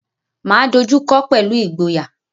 Máa dojú kọọ́ pẹ̀lú ìgboyà.